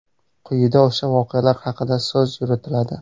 Quyida o‘sha voqealar haqida so‘z yuritiladi.